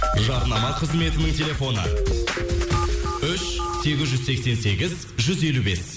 жарнама қызметінің телефоны үш сегіз жүз сексен сегіз жүз елу бес